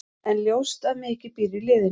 En ljóst að mikið býr í liðinu.